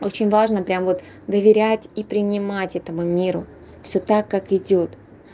очень важно прямо вот доверять и принимать этому миру всё так как идёт